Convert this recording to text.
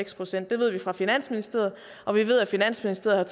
procent det ved vi fra finansministeriet og vi ved at finansministeriet